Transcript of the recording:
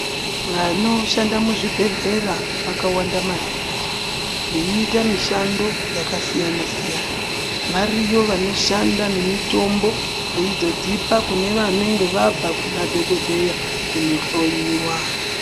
Vanoshanda muzvibhehlera vakawanda maningi, veiita mishando dzakasiyana-siyana. Variyo vanoshanda nemitombo veizodzipa kune vanenge vabva Kuna dhokodheya kohloyiwa.